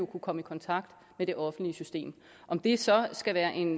kunne komme i kontakt med det offentlige system om det så skal være en